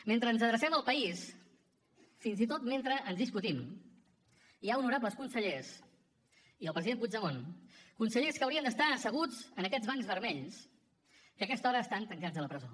mentre ens adrecem al país fins i tot mentre ens discutim hi ha honorables consellers i el president puigdemont consellers que haurien d’estar asseguts en aquests bancs vermells que en aquesta hora estan tancats a la presó